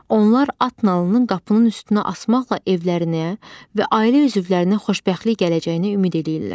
Onlar at nalının qapının üstünə asmaqla evlərinə və ailə üzvlərinə xoşbəxtlik gələcəyinə ümid eləyirlər.